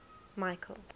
michael